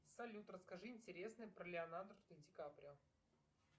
салют расскажи интересное про леонардо ди каприо